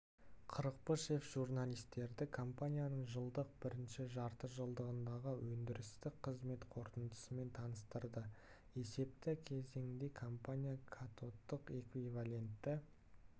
қырықпышев журналистерді компанияның жылдың бірінші жартыжылдығындағы өндірістік қызмет қорытындысымен таныстырды есепті кезеңде компания катодтық эквивалентті